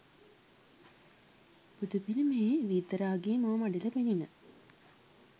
බුදු පිළිමයේ විතරාගී මුව මඩල පෙණින.